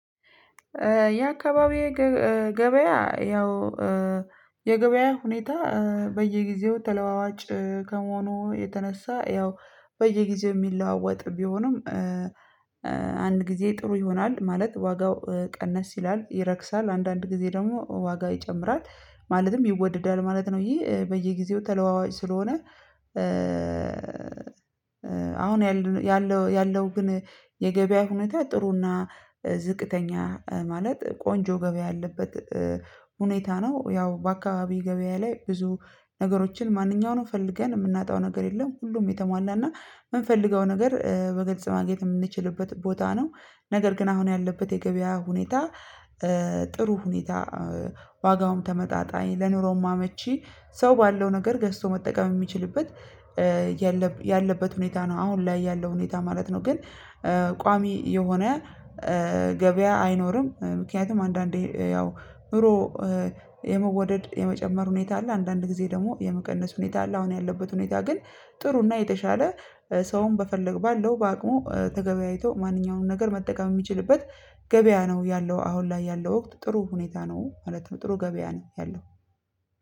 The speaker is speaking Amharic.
የአካባቢዬ ገብ እእ ገበያ ያው እእ የገበያ ሁኔታ እእ በየጊዜው ተለዋዋጭ እእ ከመሆኑ የተነሳ ያው በየጊዜው የሚለዋወጥ ቢሆንም እእ እእ አንድ ጊዜ ጥሩ ይሆናል ማለት ዋጋው እ ቀነስ ይላል ይረክሳል አንዳንድ ጊዜ ደግሞ ዋጋው ይጨምራል ማለትም ይወደዳል ማለት ነው። ይሄ በየጊዜው ተለዋዋጭ ስለሆነ እእ አሁን ያልን ያለው ያለው ግን የገበያ ሁኔታ ጥሩ እና እ ዝቅተኛ እ ማለት ቆንጆ ገበያ ያለበት እ ሁኔታ ነው። ያው በአካባቢ ገበያ ላይ ብዙ ነገሮችን ማንኛውንም ፈልገን የምናጣው ነገር የለም ሁሉም የተሟላና የምንፈልገው ነገር እ በግልጽ ማግኘት የምንችልበት ቦታ ነው። ነገር ግን አሁን ያለበት የገበያ ሁኔታ እእ ጥሩ ሁኔታ አእ ዋጋውም ተመጣጣኝ ለኑሮም አመቺ ሰው ባለው ነገር ገዝቶ መጠቀም የሚችልበት እእ ያለብ ያለበት ሁኔታ ነው አሁን ላይ ያለው ሁኔታ ማለት ነው። ግን እእ ቋሚ የሆነ እእ ገብያ አይኖርም እእ ምክንያቱም አንዳንዴ እ ያው ኑሮ እእ የመወደድ የመጨመር ሁኔታ አለ አንዳንድ ጊዜ ደግሞ የመቀነስ ሁኔታ አለ። አሁን ያለበት ሁኔታ ግን ጥሩ እና የተሻለ እእ ሰውን በፈለግ ባለው በአቅሙ እእ ተገበያይቶ ማንኛውንም ነገር መጠቀም ሚችልበት ገበያ ነው ያለው አሁን ላይ ያለው ወቅት ጥሩ ሁኔታ ነው ማለት ነው። ጥሩ ገበያ ነው ያለው